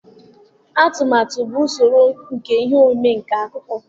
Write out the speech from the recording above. Atụmatụ bụ usoro nke ihe omume nke akụkọ.